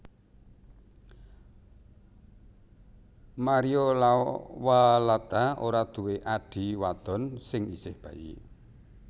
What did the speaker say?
Mario Lawalata ora duwe adhi wadon sing isih bayi